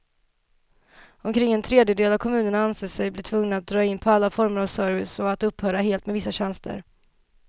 Omkring en tredjedel av kommunerna anser sig bli tvungna att dra in på alla former av service och att upphöra helt med vissa tjänster.